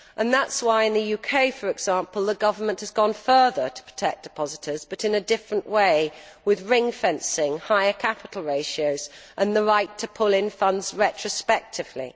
That is why in the UK, for example, the government has gone further to protect depositors but in a different way, with ring fencing, higher capital ratios and the right to pull in funds retrospectively.